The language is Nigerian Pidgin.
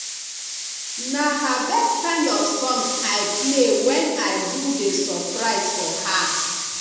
na her best kind of song i play when i do the surprise for her